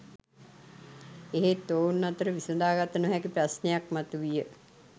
එහෙත් ඔවුන් අතර විසඳාගත නොහැකි ප්‍රශ්නයක් මතු විය